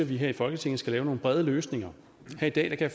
vi her i folketinget skal lave nogle brede løsninger her i dag kan